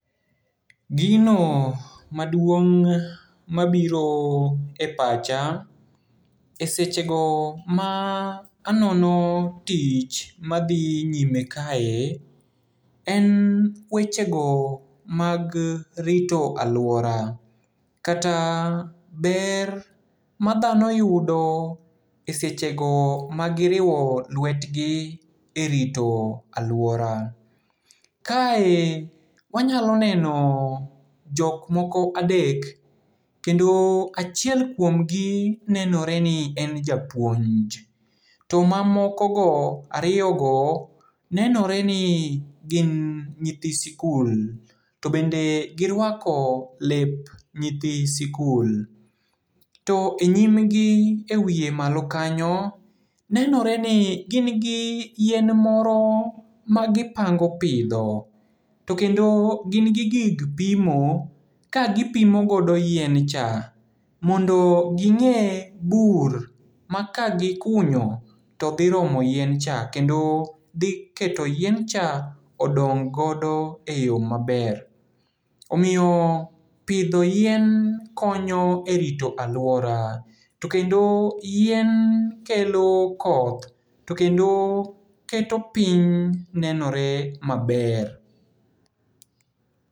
Gino maduong' mabiro e pacha e sechego ma anono tich madhi nyime kae, en wechego mag rito aluora, kata ber madhano yudo e sechego magiriwo lwetgi e rito aluora. Kae wanyalo neno jokmoko adek, kendo achiel kuomgi nenoreni en japuonj. To mamokogo, ariyogo nenoreni gin nyithi sikul, to bende giruako lep nyithi sikul. To e nyimgi e wie malo kanyo, nenoreni gin gi yien moro magipango pidho. To kendo gin gi gig pimo kagipimo godo yiencha, mondo ging'e bur ma kagikunyo to dhi romo yiencha, kendo dhiketo yiencha odong' godo e yo maber. Omiyo pidho yien konyo e rito aluora, to kendo yien kelo koth, to kendo keto piny nenore maber.